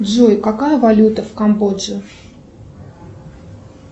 джой какая валюта в камбодже